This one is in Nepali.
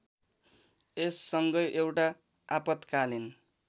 यससँगै एउटा आपत्कालीन